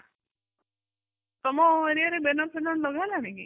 ତମ area ରେ banner ଫାନ୍ନର ଲଗା ହେଲାଣି କି?